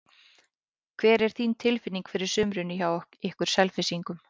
Hvernig er þín tilfinning fyrir sumrinu hjá ykkur Selfyssingum?